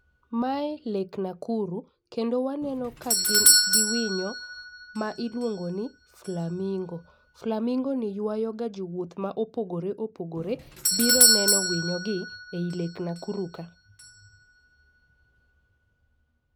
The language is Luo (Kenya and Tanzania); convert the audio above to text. Mae lake Nakuru kendo waneno ka gin gi winyo ma iluongo ni flamingo. Flamingo ni ywago ga jowuoth mopogore opogore biro neno winyo gi e lake Nakuru ka.